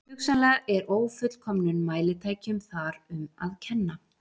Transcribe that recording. Hugsanlega er ófullkomnum mælitækjum þar um að kenna.